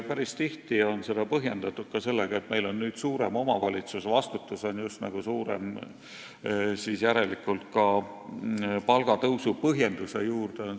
Päris tihti on neid tõuse põhjendatud sellega, et meil on nüüd suurem omavalitsus, sh vastutus on suurem – see on justkui käinud palgatõusu põhjenduse juurde.